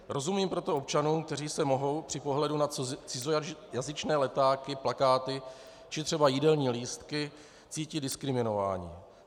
Rozumím proto občanům, kteří se mohou při pohledu na cizojazyčné letáky, plakáty či třeba jídelní lístky cítit diskriminováni.